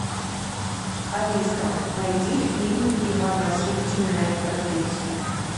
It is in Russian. алиса найди фильм иван васильевич меняет профессию